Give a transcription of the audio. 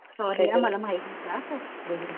sorry हं मला माहिती नव्हतं